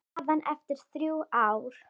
Staðan eftir þrjú ár?